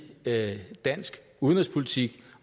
dansk udenrigspolitik